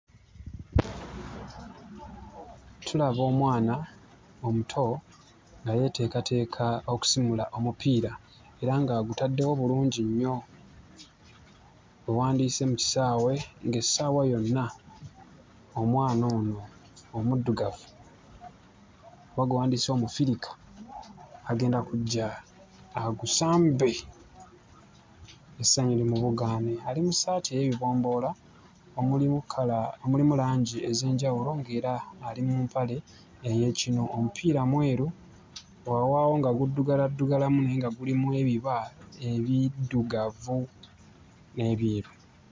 Tulaba omwana omuto nga yeeteekateeka okusimula omupiira era ng'agutaddewo bulungi nnyo we wandiyise mu kisaawe, ng'essaawa yonna omwana ono omuddugavu oba gwe wandiyise Omufirika agenda kujja agusambe, essanyu limubugaane. Ali mu ssaati ey'ebibomboola nga mulimu kkala, nga mulimu langi ez'enjawulo, ng'era ali mu mpale ey'ekinu. Omupiira mweru, weewaawo nga guddugaladdugalamu naye nga gulimu ebiba ebiddugavu n'ebyeru.